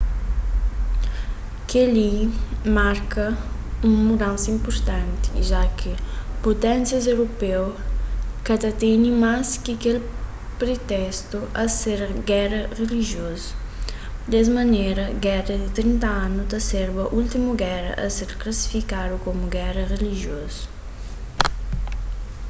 kel-li marka un mudansa inpurtanti ja ki puténsias europeu ka ta tene mas kel pritestu di ser géra rilijiozu des manera géra di trinta anu ta serba últimu géra a ser klasifikadu komu géra rilijiozu